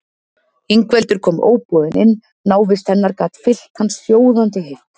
Ingveldur kom óboðin inn, návist hennar gat fyllt hann sjóðandi heift.